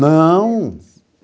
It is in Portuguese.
Não.